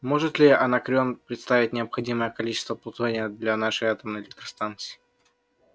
может ли анакреон предоставить необходимое количество плутония для нашей атомной электростанции